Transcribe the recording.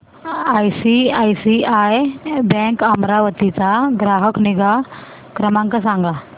ICICI bank Amravati चा ग्राहक निगा क्रमांक सांगा